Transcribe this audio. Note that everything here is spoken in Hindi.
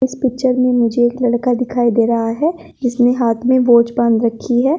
इस पिक्चर में मुझे एक लड़का दिखाई दे रहा है जिसेने हाथ में वॉच बांध रखी है।